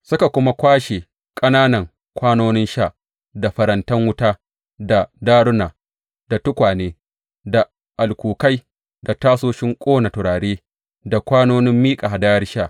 Suka kuma kwashe ƙananan kwanonin sha, da farantan wuta, da daruna, da tukwane, da alkukai, da tasoshin ƙona turare, da kwanonin miƙa hadayar sha.